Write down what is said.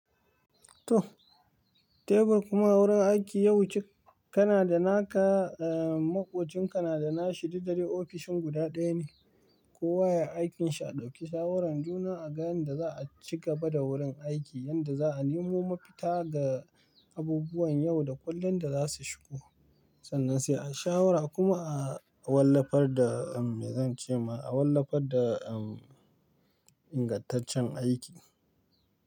To, tebur kuma wurin aiki yau cika, kana da naka, eh, maƙocin ka nada na shidi dare ofishin guda ɗaya ne. Ko waye aikinshi a ɗauki shawaran juna a ga yanda za a ci gaba da wurin aiki yanda za'a nemo mafita ga abubuwan yau da kullum da za su shigo. Sannan sai a shawara kuma a wallafar da, me zan ce ma, a wallafar da ingantaccen aiki.